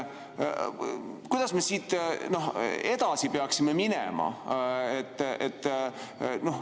Kuidas me siit edasi peaksime minema?